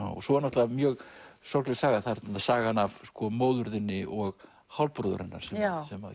svo er náttúrulega mjög sorgleg saga það er sagan af móður þinni og hálfbróður hennar sem